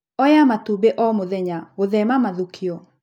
Oya matumbĩ o mũthenya gũthema mathũkio.